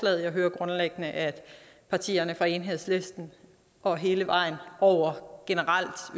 jeg hører grundlæggende at partierne fra enhedslisten og hele vejen over generelt